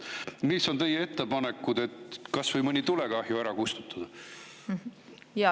Mis on teie ettepanekud, kuidas kas või mõni tulekahju ära kustutada?